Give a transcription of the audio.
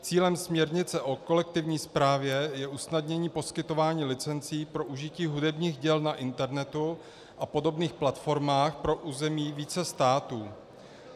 Cílem směrnice o kolektivní správě je usnadnění poskytování licencí pro užití hudebních děl na internetu a podobných platformách pro území více států.